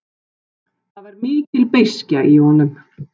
Það var mikil beiskja í honum.